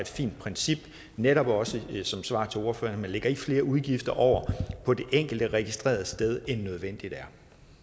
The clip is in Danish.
fint princip netop også som svar til ordføreren man lægger flere udgifter over på det enkelte registrerede sted end nødvendigt er